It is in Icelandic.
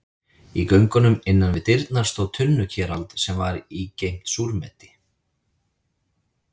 Í göngunum innan við dyrnar stóð tunnukerald sem í var geymt súrmeti.